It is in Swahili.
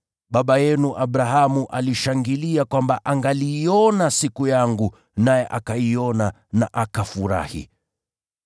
Baba yenu Abrahamu alishangilia kwamba angaliiona siku yangu, naye akaiona na akafurahi.”